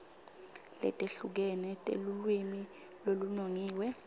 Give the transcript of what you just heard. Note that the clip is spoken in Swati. letehlukene telulwimi lolunongiwe